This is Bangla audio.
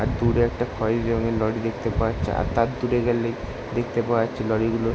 আর দূরে একটা খয়েরি রঙ্গের একটা লরি দেখতে পাওয়া যাচ্ছে। আর তার দূরে গেলেই দেখতে পাওয়া যাচ্ছে লরি -গুলো।